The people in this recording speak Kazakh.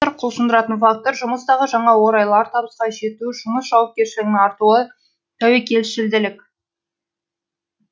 құлшындыратын фактор жұмыстағы жаңа орайлар табысқа жету жұмыс жауапкершілігінің артуы тәуекелшілділік